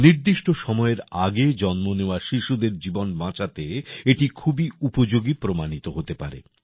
নিদিষ্ট সময়ের আগে জন্ম নেওয়া শিশুদের জীবন বাঁচাতে এটি খুবই উপযোগী প্রমাণিত হতে পারে